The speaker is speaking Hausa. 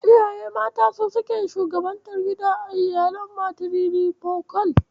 Iyaye mata sune suke shugabantar gida a iyalin matirifokal.